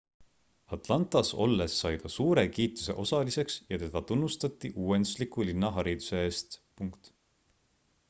atlantas olles sai ta suure kiituse osaliseks ja teda tunnustati uuendusliku linnahariduse eest